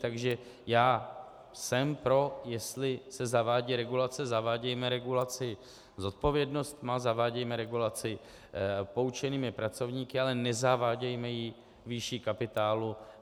Takže já jsem pro, jestli se zavádí regulace, zavádějme regulaci s odpovědností, zavádějme regulaci poučenými pracovníky, ale nezavádějme ji výší kapitálu.